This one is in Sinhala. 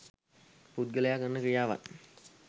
පුද්ගලයා කරන ක්‍රියාවන්